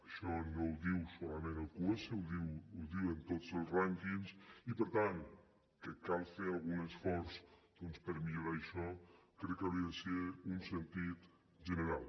això no ho diu solament el qs ho diuen tots els rànquings i per tant que cal fer algun esforç doncs per millorar això crec que hauria de ser un sentir general